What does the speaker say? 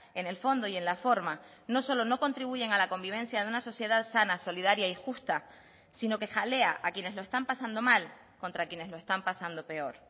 en el fondo y en la forma no solo no contribuyen a la convivencia de una sociedad sana solidaria y justa sino que jalea a quienes lo están pasando mal contra quienes lo están pasando peor